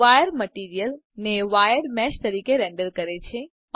wire material ને wired મેશતરીકે render કરે છે